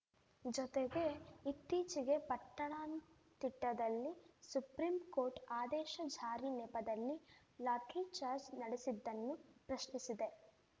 ಜೊತೆಗೆ ಇತ್ತೀಚೆಗೆ ಪಟ್ಟಣಂತಿಟ್ಟದಲ್ಲಿ ಸುಪ್ರೀಂಕೋರ್ಟ್‌ ಆದೇಶ ಜಾರಿ ನೆಪದಲ್ಲಿ ಲಾಠಿಚಾರ್ಜ್ ನಡೆಸಿದ್ದನ್ನೂ ಪ್ರಶ್ನಿಸಿದೆ